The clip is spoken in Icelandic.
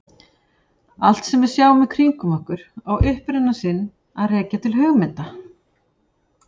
Allt sem við sjáum í kringum okkur á uppruna sinn að rekja til hugmynda.